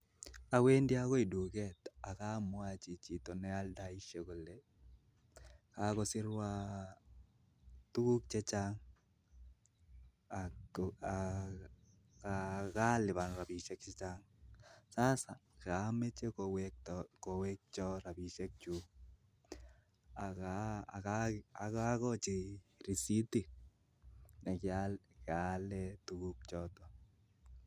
Awendi akoi duket akamwachi chito nealdaishei kole kakosirwa tukuk chechang ak kalipan robishiek chechang. Sasa kameche kowekcho robishiek chuk akokochi receitit nekaale tukuk chotok